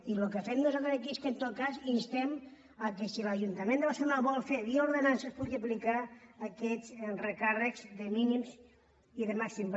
i el que fem nosaltres aquí és que en tot cas instem que si l’ajuntament de barcelona ho vol fer via ordenances pugui aplicar aquests recàrrecs de mínims i de màxims